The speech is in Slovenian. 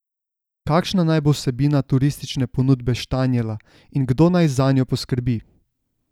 Kakšna naj bo vsebina turistične ponudbe Štanjela in kdo naj zanjo poskrbi?